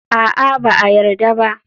A'a, ba a yarda ba.